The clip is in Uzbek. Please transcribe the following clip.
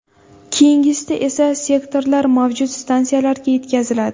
Keyingisida esa, sektorlar mavjud stansiyalarga yetkaziladi.